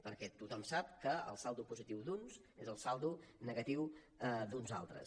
perquè tothom sap que el saldo positiu d’uns és el saldo negatiu d’uns altres